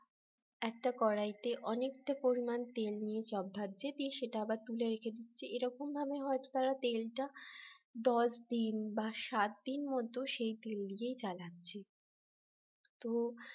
একটা কড়াইতে অনেকটা পরিমাণ তেল নিয়ে চপ বাজছে দিয়ে সেটা আবার তুলে রেখে দিচ্ছে । এরকম ভাবে হয়তো তারা তেলটা দশ দিন বা সাত দিন মত সেই তেল দিয়েই চালাচ্ছে তো